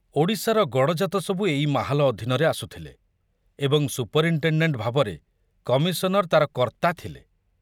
ଓଡ଼ିଶାର ଗଡ଼ଜାତ ସବୁ ଏଇ ମାହାଲ ଅଧୀନରେ ଆସୁଥିଲେ ଏବଂ ସୁପରିନଟେଣ୍ଡେଣ୍ଟ ଭାବରେ କମିଶନର ତାର କର୍ତ୍ତା ଥିଲେ।